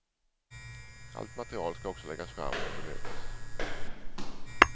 Allt material skall också läggas fram och bemötas.